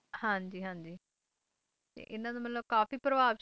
ਹਾਂ ਜੀ ਹਾਂ ਜੀ ਤੇ ਇਨ੍ਹਾਂ ਦਾ ਮਤਲਬ ਕਾਫੀ ਪ੍ਰਭਾਵਸ਼ਾਲੀ